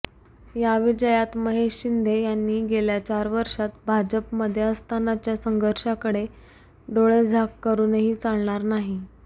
या विजयात महेश शिंदे यांनी गेल्या चार वर्षात भाजपमध्ये असतानाच्या संघर्षाकडे डोळेझाक करूनही चालणार नाही